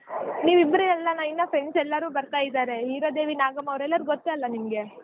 ನಿವಿಬ್ರೆ ಅಲ್ಲಾ ಅಣ್ಣಾ ಇನಾ friends ಎಲ್ಲಾರು ಬರ್ತಾ ಇದಾರೆ ಹೀರಾದೇವಿ ನಾಗಮ್ಮ ಅವರೆಲ್ಲಾ ಗೂತ್ತ ನಿಮ್ಗೆ.